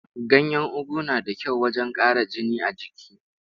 Ganyen ugu na da kyau wajen ƙara jini a jiki.